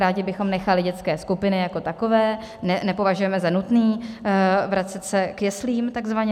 Rádi bychom nechali dětské skupiny jako takové, nepovažujeme za nutné vracet se k jeslím takzvaně.